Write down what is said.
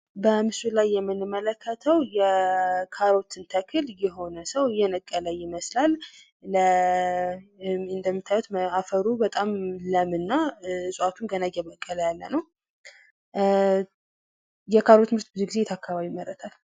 በምስሉ ላይ የምንመለከተው የካሮትን ተክል የሆነ ሰው እየነቀለ ይመስላል ።እንደምታዩት አፈሩ በጣም ለም እና ዕጽዋቱም ገና እየበቀለ ያለ ነው። የካሮት ምርት ብዙ ጊዜ የት አካባቢ ይመረታል?